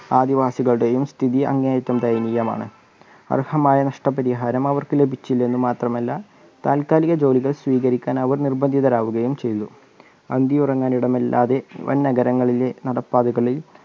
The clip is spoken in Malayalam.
ആദിവാസികളുടെയും സ്ഥിതി അങ്ങേയറ്റം ദയനികമാണ്. അർഹമായ നഷ്ടപരിഹാരത്തി ലഭിച്ചില്ലെന്ന് മാത്രമല്ല താൽക്കാലിക ജോലികൾ സ്വീകരിക്കാൻ അവർ നിർബന്ധിതരാവുകയും ചെയ്തു. അന്തിയുറങ്ങാൻ ഇടമല്ലാതെ വൻ നഗരങ്ങളിലെ നടപ്പാതകളിൽ